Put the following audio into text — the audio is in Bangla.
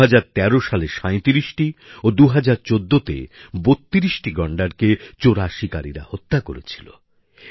২০১৩ সালে ৩৭টি ও ২০১৪ তে ৩২ টি গন্ডারকে চোরাশিকারিরা হত্যা করেছিল